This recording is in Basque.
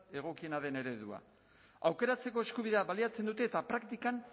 egokiena den eredua aukeratzeko eskubidea baliatzen dute eta praktikan